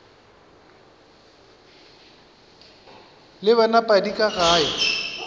le wena padi ka ge